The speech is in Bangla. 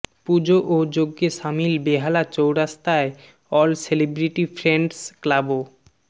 পুজো ও যজ্ঞে সামিল বেহালা চৌরাস্তায় অল সেলিব্রিটি ফ্রেন্ডস ক্লাবও